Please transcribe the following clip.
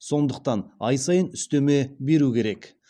сондықтан ай сайын үстеме беру керек